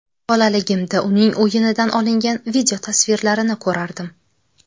Bolaligimda uning o‘yinidan olingan videotasvirlarini ko‘rardim.